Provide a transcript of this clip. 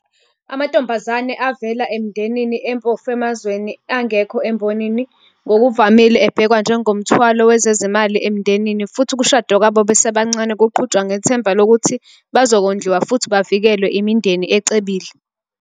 Amantombazane avela emindenini empofu emazweni angkho embonini ngokuvamile abhekwa njengomthwalo wezezimali emndenini futhi ukushada kwabo basebancane kuqhutshwa ngethemba lokuthi bazokondliwa futhi bavikelwe imindeni ecebile.